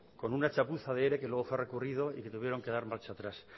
con una chapuza de ere que luego fue recurrido y que tuvieron que dar marcha atrás